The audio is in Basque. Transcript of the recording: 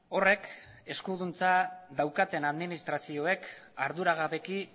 horrek eskuduntza daukaten administrazioek arduragabeki